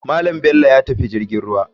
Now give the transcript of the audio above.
Malam bello yatafi jirgin ruwa.